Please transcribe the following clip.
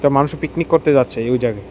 মানুষে পিকনিক করতে যাচ্ছে ওই জায়গায়।